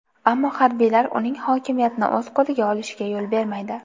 Ammo harbiylar uning hokimiyatni o‘z qo‘liga olishiga yo‘l bermaydi.